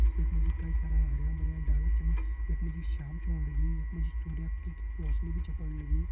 यख मा जी कई सारा हरयां भरयां डाला छन यख मा जी शाम छ होण लगीं यख मा जी सूर्या की रौशनी भी छा पण लगीं।